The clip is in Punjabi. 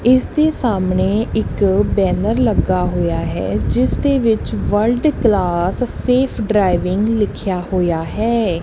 ਇਸ ਦੇ ਸਾਹਮਣੇ ਇੱਕ ਬੈਨਰ ਲੱਗਾ ਹੋਇਆ ਹੈ ਜਿਸ ਦੇ ਵਿੱਚ ਵਰਲਡ ਕਲਾਸ ਸੇਫ ਡਰਾਈਵਿੰਗ ਲਿੱਖਿਆ ਹੋਇਆ ਹੈ।